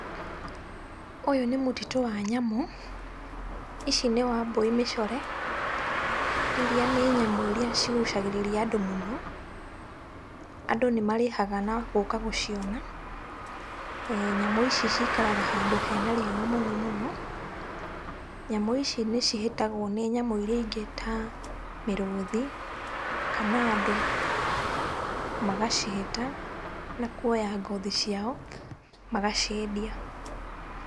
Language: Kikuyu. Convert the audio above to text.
Ũyũ nĩ mũtitũ wa nyamũ, ici nĩ wambũi mĩcore iria nĩ nyamũ iria cigucagĩrĩria andũ mũno. Andũ nĩmarĩhaga na gũka gũciona eh. Nyamũ ici ciikaraga handũ hena riũa mũno mũno. Nyamũ ici nĩ cihĩtagwo nĩ nyamũ iria ingĩ ta mĩrũthi kana andũ magacĩhĩta na kuoya ngothi ciao, magaciendia.